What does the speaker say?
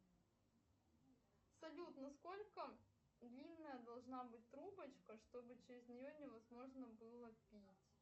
салют на сколько длинная должна быть трубочка чтобы через нее невозможно было пить